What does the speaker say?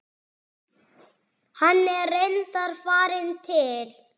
Hann er reyndar farinn til